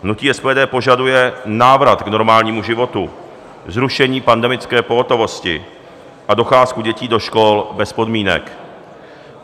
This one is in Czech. Hnutí SPD požaduje návrat k normálnímu životu, zrušení pandemické pohotovosti a docházku dětí do škol bez podmínek.